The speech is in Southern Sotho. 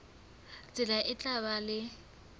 tsela e tla ba le